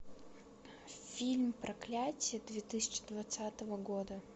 фильм проклятье две тысячи двадцатого года